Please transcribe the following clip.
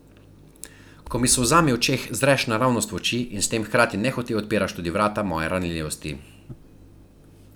Ko mi s solzami v očeh zreš naravnost v oči in s tem hkrati nehote odpiraš tudi vrata moje ranljivosti.